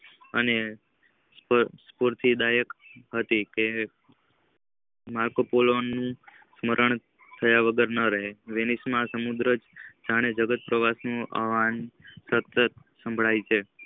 અને સમુત દાયક હતી. કે નકલોપોળોન નું સ્મરણ થયા વગર ના રહે વેણીશ સમુદ્ર જયારે જગત નો આવાં સતત સંભળાઈ છે.